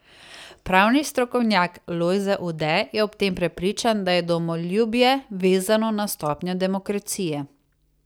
Pravni strokovnjak Lojze Ude je ob tem prepričan, da je domoljubje vezano na stopnjo demokracije.